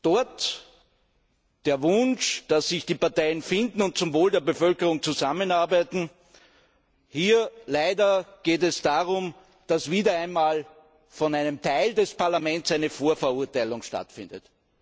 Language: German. Dort der Wunsch, dass sich die Parteien finden und zum Wohl der Bevölkerung zusammenarbeiten. Hier geht es leider darum, dass wieder einmal von einem Teil des Parlaments eine Vorverurteilung stattfindet.